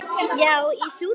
Já, í Súdan.